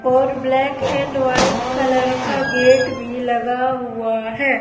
और black and white colour का gate भी लगा हुआ है।